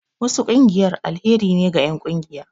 Wasu ƙungiyar alheri ne ga enƙungiya